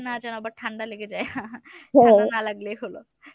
না জেনো আবার ঠান্ডা লেগে যায় ঠান্ডা না লাগলেই হল।